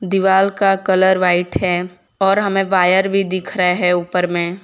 दीवाल का colour white है और हमें वायर भी दिख रहा है ऊपर में--